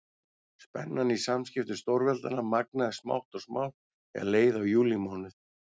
Spennan í samskiptum stórveldanna magnaðist smátt og smátt þegar leið á júlímánuð.